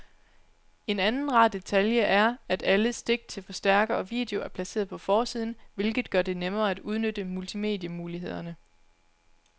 En anden rar detalje er, at alle stik til forstærker og video er placeret på forsiden, hvilket gør det nemmere at udnytte multimedie-mulighederne.